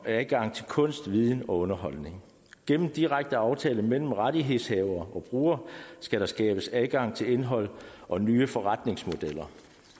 adgang til kunst viden og underholdning gennem direkte aftaler mellem rettighedshavere og brugere skal der skabes adgang til indhold og nye forretningsmodeller